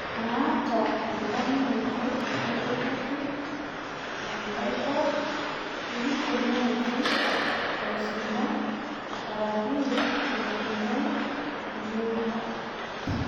Maata endamuunoto naiduraki enkai kop ekitoni ake aishinda araki eishindae yiook